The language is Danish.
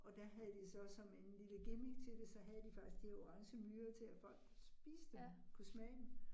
Og der havde de så som en lille gimmick til det, så havde de faktisk de her orangemyrer til at folk kunne spise dem, kunne smage dem